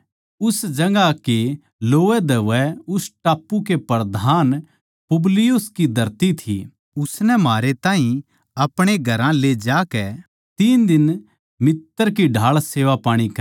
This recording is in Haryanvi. उस जगहां कै लोवैधोवै उस टापू कै प्रधान पुबलियुस की धरती थी उसनै म्हारै ताहीं अपणे घरां ले जाकै तीन दिन मित्तर की ढाळ सेवापाणी करी